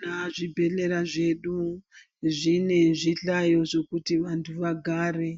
Tinoona zvibhedhlera zvedu zvine zvihlayo zvokuti vantu vagare